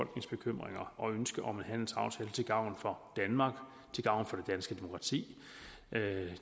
bekymringer og ønske om en handelsaftale til gavn for danmark til gavn for danske demokrati